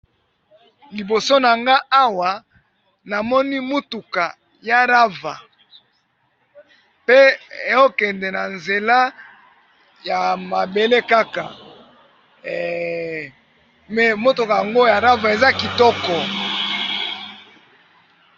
liboso na nga awa namoni mutuku ya rava pe okende na nzela ya mabele kaka eeeeeehhhh mais mutuku yango ya rava eza kitoko